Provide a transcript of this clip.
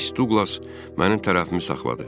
Miss Duqlas mənim tərəfimi saxladı.